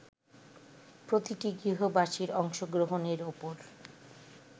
প্রতিটি গৃহবাসীর অংশগ্রহণের ওপর